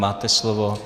Máte slovo.